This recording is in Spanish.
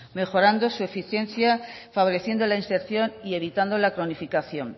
mejorando su eficiencia favoreciendo la inserción y evitando la cronificación